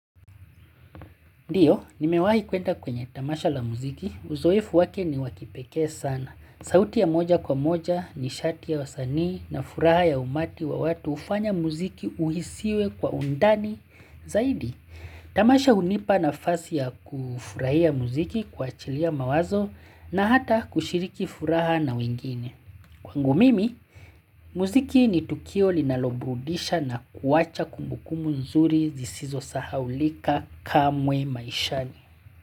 Ndio, nimewahi kwenda kwenye tamasha la muziki. Uzoefu wake ni wa kipekee sana. Sauti ya moja kwa moja nishati ya wasanii na furaha ya umati wa watu hufanya muziki uhisiwe kwa undani. Zaidi, tamasha hunipa nafasi ya kufurahia muziki kuachilia mawazo na hata kushiriki furaha na wengine. Kwangu mimi, mziki ni Tukio linaloburudisha na kuwacha kumbukumbu mzuri zisizosahaulika kamwe maishani.